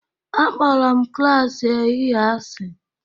Akpọrọ m klas ehihie asị